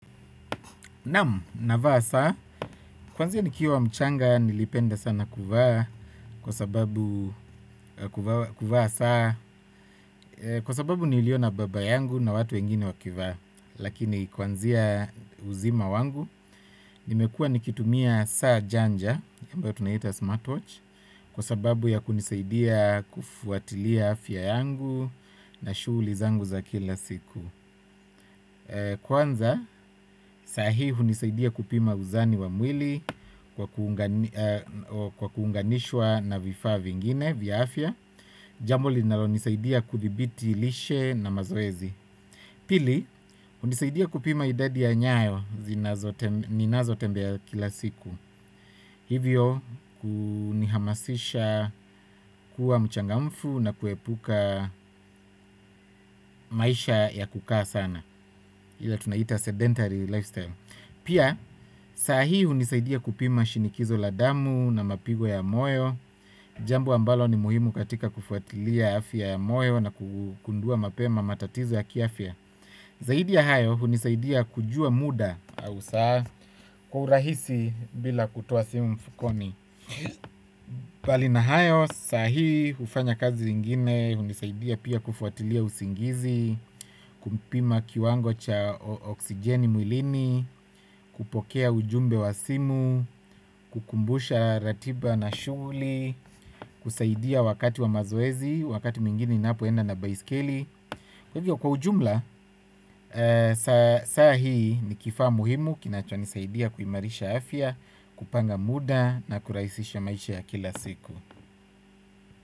Naam, navaa saa, kwanzia nikiwa mchanga nilipenda sana kuvaa, kwasababu kuvaa saa kwa sababu niiliona baba yangu na watu wengine wakivaa, lakini kwanzia uzima wangu, nimekua nikitumia saa janja, ambayo tunaita smartwatch, kwa sababu ya kunisaidia kufuatilia afya yangu na shuli zangu za kila siku. Kwanza sahihi unisaidia kupima uzani wa mwili kwa kuunganishwa na vifaa vingine vya afya. Jambo linalo nisaidia kudhibiti lishe na mazoezi. Pili unisaidia kupima idadi ya nyayo zinazo tembea ya kila siku. Hivyo kunihamasisha kuwa mchangamfu na kuepuka maisha ya kukaa sana ila tunaita sedentary lifestyle. Pia saa hii hunisaidia kupima shinikizo la damu na mapigo ya moyo. Jambo ambalo ni muhimu katika kufuatilia afya ya moyo na kugundua mapema matatizo ya kiafya. Zaidi ya hayo hunisaidia kujua muda au saa kwa urahisi bila kutoa simu mfukoni. Palina hayo saa hii hufanya kazi ingine hunisaidia pia kufuatilia usingizi. Kumpima kiwango cha oksijeni mwilini. Kupokea ujumbe wa simu. Kukumbusha ratiba na shuguli. Kusaidia wakati wa mazoezi. Wakati mwingine napoenda na baiskeli. Kwa ujumla, saa hii ni kifaa muhimu kinacho nisaidia kuimarisha afya kupanga muda na kuraisisha maisha ya kila siku.